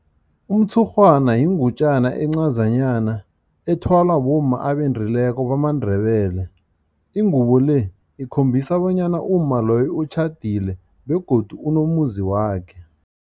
Umtshurhwana yingutjana encazanyana ethwalwa bomma abendileko bamaNdebele. Ingubo le ikhombisa bonyana umma loyo utjhadile begodu unomuzi wakhe.